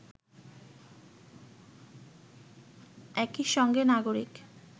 একই সঙ্গে নাগরিক